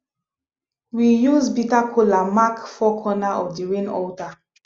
we use bitter kola mark four corner of the rain altar